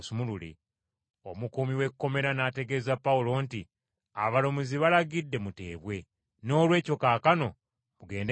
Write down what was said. Omukuumi w’ekkomera n’ategeeza Pawulo nti, “Abalamuzi balagidde muteebwe. Noolwekyo kaakano mugende mirembe.”